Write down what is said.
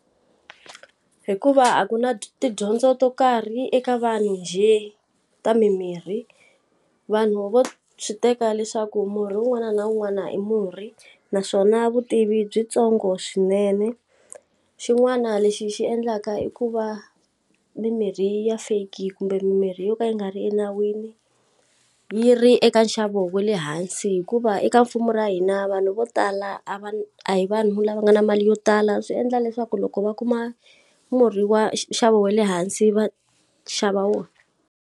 Hikuva a ku na tidyondzo to karhi eka vanhu njhe ta mimirhi, vanhu vo swi teka leswaku murhi un'wana na un'wana i murhi naswona vutivi i byi ntsongo swinene. Xin'wana lexi xi endlaka i ku va mimirhi ya fake kumbe mimirhi yo ka yi nga ri enawini yi ri eka nxavo wa le hansi hikuva eka mfumo wa hina vanhu vo tala a va a hi vanhu lava nga na mali yo tala, swi endla leswaku loko va kuma murhi wa nxavo wa le hansi va xava wona.